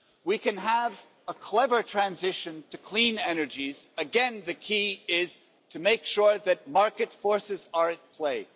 We can have a clever transition to clean energies, again the key is to make sure that market forces are at play.